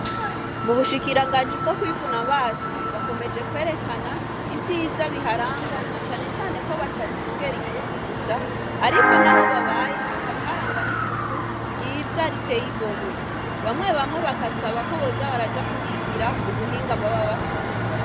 Mu bushikiranganji bwo kwivuna abansi bakomeje kwerekana ivyiza biharangwa na cane cane ko badacungera igihugu gusa ariko naho babaye hakaba harangwa n'isuku ryiza riteye igomwe bamwe bamwe bagasaba ko boza baraja kuhigira ubuhinga boba bafise.